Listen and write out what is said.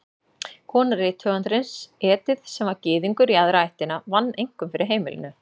Kona rithöfundarins, Edith, sem var Gyðingur í aðra ættina, vann einkum fyrir heimilinu.